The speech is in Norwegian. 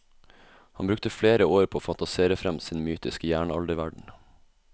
Han brukte flere år på å fantasere frem sin mytiske jernalderverden.